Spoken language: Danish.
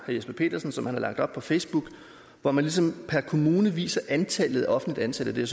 jesper petersen har lagt op på facebook hvor man ligesom per kommune viser antallet af offentligt ansatte det